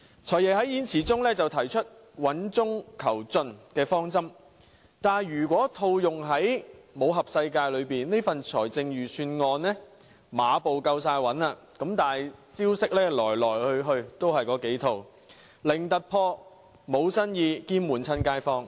"財爺"在演辭中提出穩中求進的方針，但如果套用武俠小說的術語，這份預算案馬步是夠穩，但招式來去也是那幾套，零突破，無新意，兼悶着街坊。